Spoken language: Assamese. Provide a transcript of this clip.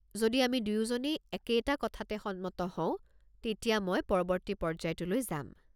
যদি আমি দুয়োজনেই একেইটা কথাত সন্মত হওঁ, তেতিয়া মই পৰৱৰ্তী পৰ্য্যায়টোলৈ যাম।